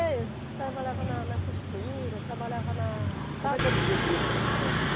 É, eu trabalhava na na costura, trabalhava na. E e como é que era o dia a dia de militância?